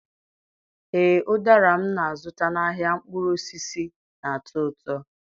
Ee, ụdara m na-azụta n'ahịa mkpụrụ osisi na-atọ ụtọ.